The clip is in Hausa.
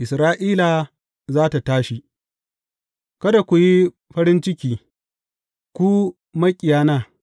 Isra’ila za tă tashi Kada ku yi farin ciki, ku maƙiyana!